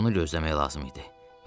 Bunu gözləmək lazım idi.